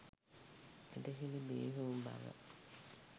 ඇදහිලි බිහි වූ බව